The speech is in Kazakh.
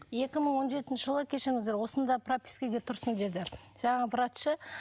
екі мың он жетінші жылы кешіріңіздер осында пропискаға тұрсын деді жаңағы врачы